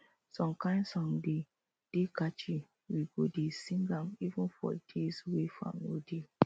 some kain song dey dey catchy we go dey sing am even for days wey farm no dey